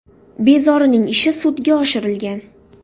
Bezorining ishi sudga oshirilgan.